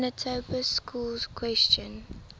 manitoba schools question